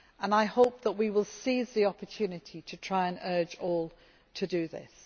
I hope that we will seize the opportunity to try to urge all to do this.